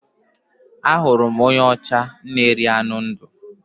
Ahụrụ m onye ọcha na-eri anụ ndụ